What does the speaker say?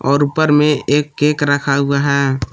और ऊपर में एक केक रखा हुआ है।